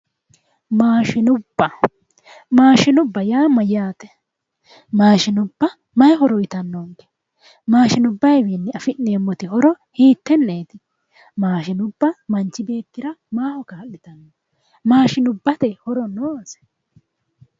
Maashinubba yaa mayyaate? Maashinubba may horo uytannonke? mashinubbayawi afi'neemmo horo hitteeti? mashinubba manchi beettira maaho kaa'litanno? maashinubbate horo noose?